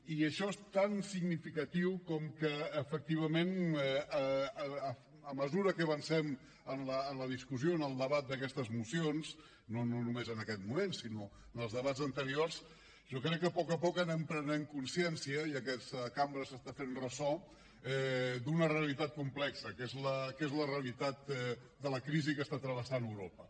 i això és tan significatiu com que efectivament a mesura que avancem en la discussió en el debat d’aquestes mocions no només en aquests moments sinó en els debats anteriors jo crec que a poc a poc anem prenent consciència i aquesta cambra se n’està fent ressò d’una realitat complexa que és la realitat de la crisi que està travessant europa